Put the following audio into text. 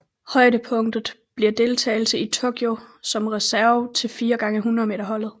Højdepunktet bliver deltagelse i Tokyo som reserve til 4x100 m holdet